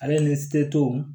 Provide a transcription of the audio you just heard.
Ale ni seto